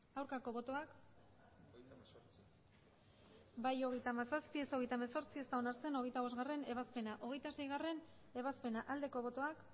aurkako botoak emandako botoak hirurogeita hamabost bai hogeita hamazazpi ez hogeita hemezortzi ez da onartzen hogeita bostgarrena ebazpena hogeita seigarrena ebazpena aldeko botoak